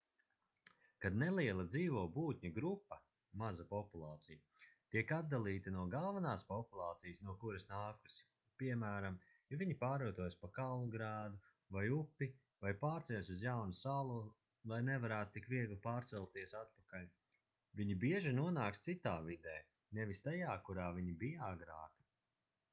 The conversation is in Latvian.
kad neliela dzīvo būtņu grupa maza populācija tiek atdalīta no galvenās populācijas no kuras nākusi piemēram ja viņi pārvietojas pa kalnu grēdu vai upi vai pārceļas uz jaunu salu lai nevarētu tik viegli pārcelties atpakaļ viņi bieži nonāks citā vidē nevis tajā kurā viņi bija agrāk